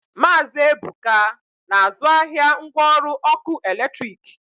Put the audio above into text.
Maazi Ebuka na-azụ ahịa ngwa ọrụ ọkụ eletrik.